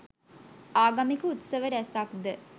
ආගමික උත්සව රැසක් ද